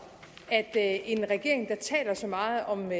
at en regering der taler så meget om